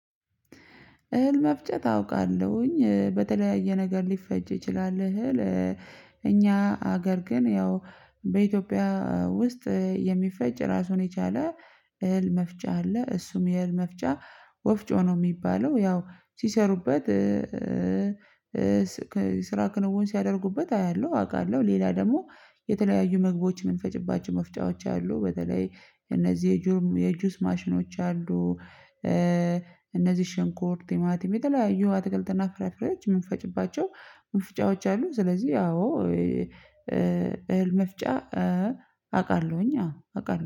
እህል መፍጨት አውቃለሁኝ በተለያየ ነገር ሊፈጭ ይችላል እህል። እኛ ሀገር ግን ያው በኢትዮጵያ ውስጥ የሚፈጭ ራሱን የቻለ እህል መፍጫ አለ። እሱም የእህል መፍጫ ወፍጮ ነው ሚባለው። ያው ሲሰሩበት። ስራ ክንውን ሲያደርጉበት አያለሁ አቃለሁ ሌላ ደግሞ የተለያዩ ምግቦች የምንፈጭባቸው መፍጫዎች አሉ። በተለይ እነዚህ የጁስ ማሽኖች አሉ። እነዚህ ሽንኩር ቲማቲም የተለያዩ አትክልትና ፍራፍሬዎች ምንፈጭባቸው መፍጫዎች አሉ። ስለዚህ አዎ እህል መፍጫ አውቃለሁኝ አዎ አውቃለሁ